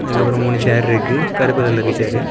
அதுக்கப்புறம் மூணு சேர் இருக்கு. கருப்பு கலரு சேரு .